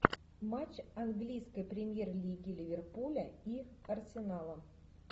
матч английской премьер лиги ливерпуля и арсенала